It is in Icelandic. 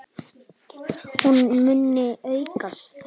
Hún muni aukast!